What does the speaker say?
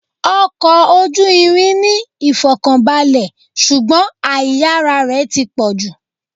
Ọkọ̀ ojú irin ní ìfọ̀kànbalè, ṣùgbọ́n àìyára rẹ̀ ti pọ̀jù.